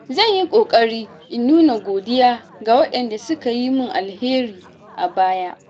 Zan yi ƙoƙari in nuna godiya ga waɗanda suka yi min alheri a baya.